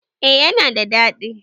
E, yana da daɗi.